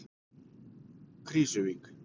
Krýsuvík